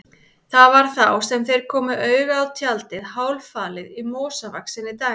Það var þá sem þeir komu auga á tjaldið, hálffalið í mosavaxinni dæld.